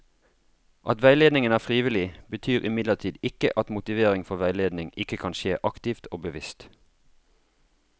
At veiledningen er frivillig, betyr imidlertid ikke at motivering for veiledning ikke kan skje aktivt og bevisst.